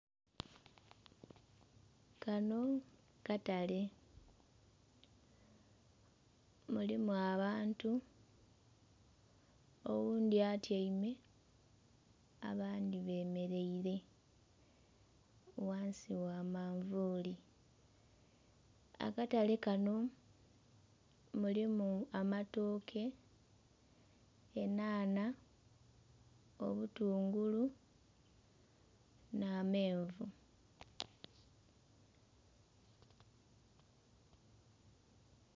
Kano katale, mulimu abantu. Oghundhi atyaime, abandhi bemeleire ghansi gha manvuli. Akatale kano mulimu amatooke, enhanha, obutungulu, n'amenvu